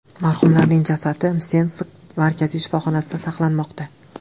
Marhumlarning jasadi Msensk markaziy shifoxonasida saqlanmoqda.